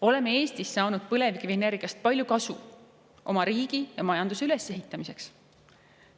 Oleme Eestis saanud põlevkivienergiast palju kasu oma riigi ja majanduse üles ehitamiseks.